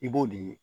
I b'o de ye